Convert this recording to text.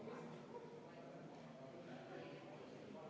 Henn Põlluaas, palun!